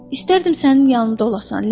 İstərdim sənin yanında olasan Lenni.